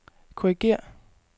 korrigér